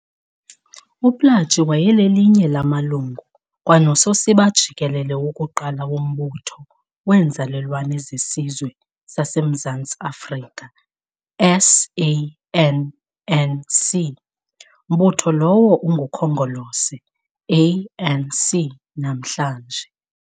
UPlaatje wayelelinye lamalungu kwanososiba jikelele wokuqala wombutho weenzalelwane zeSizwe sasemZantsi Afrika SANNC, mbutho lowo ungukhongolose ANC namhlanje.